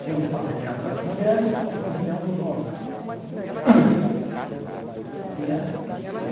Tinha os pavilhões das mulheres e tinha os pavilhões dos homens. E a